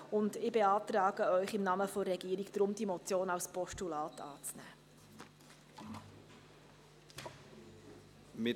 Deshalb beantrage ich Ihnen im Namen der Regierung, diese Motion als Postulat anzunehmen.